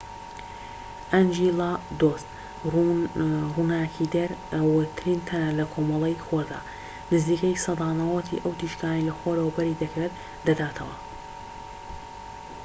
ئەنجیلادۆس ڕووناکیدەرەوەترین تەنە لە کۆمەڵەی خۆردا، نزیکەی سەدا ٩٠ ی ئەو تیشکەی لە خۆرەوە بەری دەکەوێت دەداتەوە